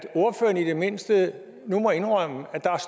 ordføreren i det mindste nu må indrømme at der